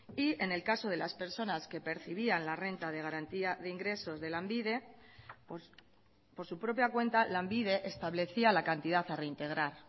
y en el caso de las personas que percibían la renta de garantía de ingresos de lanbide por su propia cuenta lanbide establecía la cantidad a reintegrar